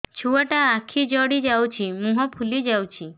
ଛୁଆଟା ଆଖି ଜଡ଼ି ଯାଉଛି ମୁହଁ ଫୁଲି ଯାଉଛି